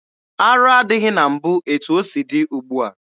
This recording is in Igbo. Arụ adịghị na mbụ etu o si dị ugbua.